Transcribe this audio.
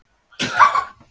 Ég ætla að játa þín vegna.